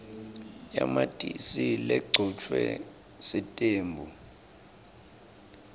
yamatisi legcotjwe sitembu